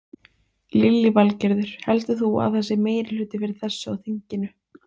Lillý Valgerður: Heldur þú að það sé meirihluti fyrir þessu á þinginu?